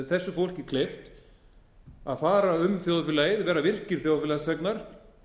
þessu fólki kleift að fara um þjóðfélagið verða virkir þjóðfélagsþegnar